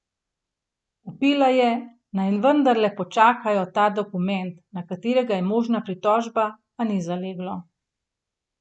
Vpila je, naj vendarle počakajo ta dokument, na katerega je možna pritožba, a ni zaleglo.